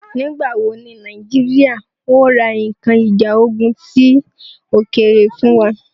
Nígbà wò ní Nàìjíríà ó ra nkan ìjà ogún ti òkèèrè fún wa?